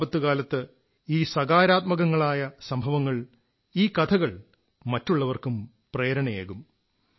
ഈ ആപത്തു കാലത്ത് ഈ സകാരാത്മകങ്ങളായ സംഭവങ്ങൾ ഈ കഥകൾ മറ്റുള്ളവർക്കും പ്രേരണയേകും